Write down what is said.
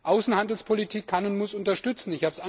Außenhandelspolitik kann und muss unterstützen.